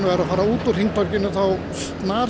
er að fara út úr hringtorginu og þá